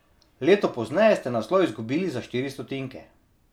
Leto pozneje ste naslov izgubili za štiri stotinke.